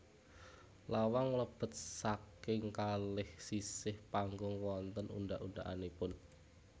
Lawang mlebet saking kalih sisih panggung wonten undhak undhakanipun